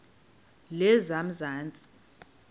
lezamanzi